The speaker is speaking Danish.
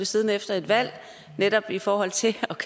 siddende efter et valg netop i forhold til